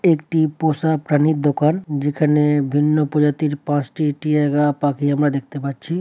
একটি পোষা প্রাণীর দোকান যেখানে ভিন্ন প্রজাতির পাঁচটি টিয়াগা পাখি আমরা দেখতে পাচ্ছি।